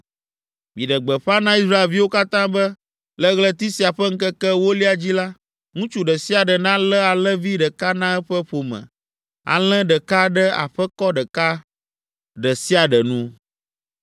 Miɖe gbeƒã na Israelviwo katã be le ɣleti sia ƒe ŋkeke ewolia dzi la, ŋutsu ɖe sia ɖe nalé alẽvi ɖeka na eƒe ƒome, alẽ ɖeka ɖe aƒekɔ ɖeka ɖe sia ɖe nu.